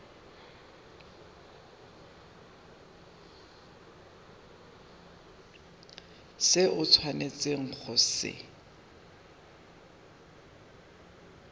se o tshwanetseng go se